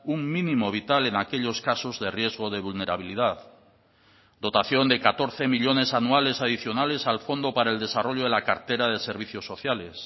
un mínimo vital en aquellos casos de riesgo de vulnerabilidad dotación de catorce millónes anuales adicionales al fondo para el desarrollo de la cartera de servicios sociales